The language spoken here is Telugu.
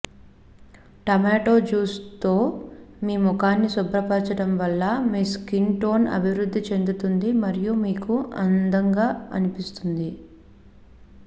టొమాటో జ్యూస్తో మీ ముఖాన్ని శుభ్రపరచడం వల్ల మీ స్కిన్ టోన్ అభివృద్ధి చెందుతుంది మరియు మీకు అందంగా అనిపిస్తుంది